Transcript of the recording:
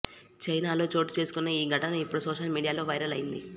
చైనాలో చోటుచేసుకున్న ఈ ఘటన ఇప్పుడు సోషల్ మీడియాలో వైరల్ అయ్యింది